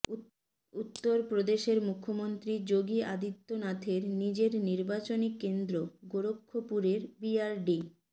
উত্তরপপ্রদেশের মুখ্যমন্ত্রী যোগী আদিত্যনাথের নিজের নির্বাচনী কেন্দ্র গোরক্ষপুরের বিআরডি